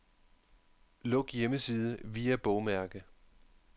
Luk hjemmeside via bogmærke.